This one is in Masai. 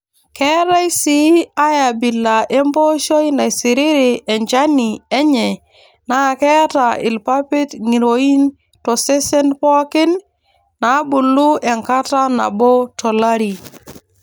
Keetae sii ae abila empooshoi naisiriri enchani enye naa keeta irpapit ng'iroin tosesen pookin nabulu enkata nabo tolari.